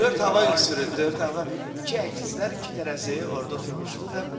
Dörd hava ünsürü, dörd hava, iki əkizlər, iki tərəzi orda oturmuşdu.